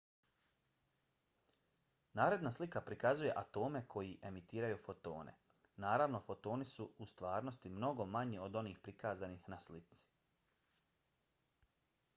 naredna slika prikazuje atome koji emitiraju fotone. naravno fotoni su u stvarnosti mnogo manji od onih prikazanih na slici